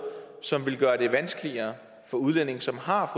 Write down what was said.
som ville gøre det vanskeligere for udlændinge som har